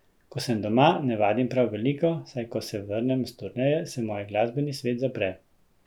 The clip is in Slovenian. Ko sem doma, ne vadim prav veliko, saj ko se vrnem s turneje, se moj glasbeni svet zapre.